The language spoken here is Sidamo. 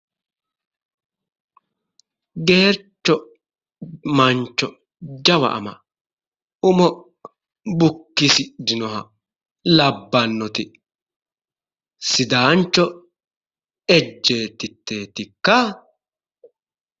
Geercho Mancho jawa ama umo bukkisidhino labbanoti Sidaancho Ejjeetitetikka ?